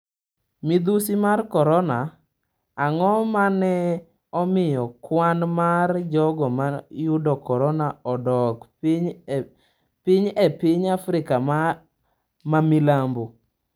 Midhusi mar Korona: Ang'o mane omiyo kwan mar jogo ma yudo korona odok piny e piny Afrika ma Milambo?